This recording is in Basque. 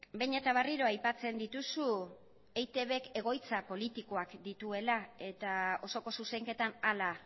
behin eta berriro aipatzen dituzu eitbk egoitza politikoak dituela eta osoko zuzenketan hala